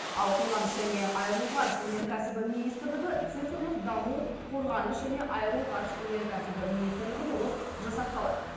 ал қорғаныс және аэроғарыш өнеркәсібі министрлігі цифрлық даму қорғаныс және аэроғарыш өнеркәсібі министрлігі болып жасақталады